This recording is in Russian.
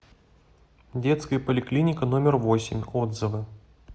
детская поликлиника номер восемь отзывы